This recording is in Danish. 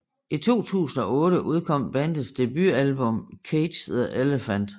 I 2008 udkom bandets debutalbum Cage The Elephant